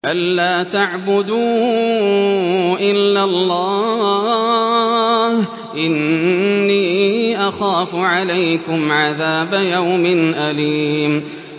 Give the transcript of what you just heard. أَن لَّا تَعْبُدُوا إِلَّا اللَّهَ ۖ إِنِّي أَخَافُ عَلَيْكُمْ عَذَابَ يَوْمٍ أَلِيمٍ